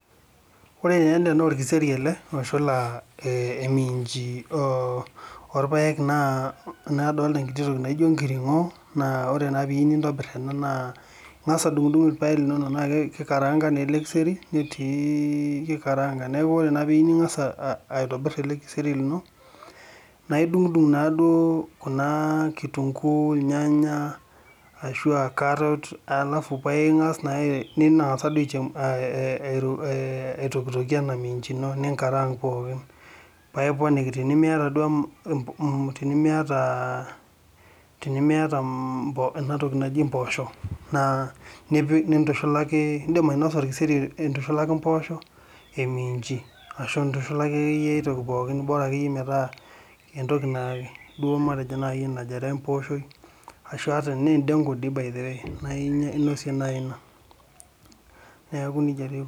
Ore taa ele naa orkiseri ele a oshula a ominchi ,orpaek naa adolta enkiti toki naijo enkiringo .Naa ore naa peyieu nintobir ena naa ingas adungdung irpaek linonok , naa kikaranga naa ele kiseri , netii , kikaranga, niaku ore naa piyieu ningasa aitobir ele keseri lino , naa idungdung naaduo kitunguu, irnyanya ashua carrot , alafu paa ingas naa , nitangasa duo aichemsha , aitokitokie ena minchi ino, ninkarang pookin paa iponiki, tenimiata , tenimiata ena toki naji impoosho naa nintushulaki , aa indim ainosa orkeseri intushulaki impoosho , eminchi , ashu intushulaki akeyieyie ae toki pookin , bora akeyie metaa entoki najo matejo nai empooshoi ashu ata tana endengu doi by the way naa inosie nai ina , niaku nejia taa eikununo.